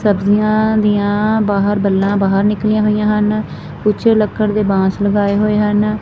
ਸਬਜ਼ੀਆਂ ਦੀਆਂ ਬਾਹਰ ਬੱਲਾਂ ਬਾਹਰ ਨਿਕਲੀਆਂ ਹੋਈਆਂ ਹਨ ਕੁਝ ਲੱਕੜ ਦੇ ਬਾਂਸ ਲਗਾਏ ਹੋਏ ਹਨ।